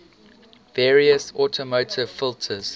various automotive filters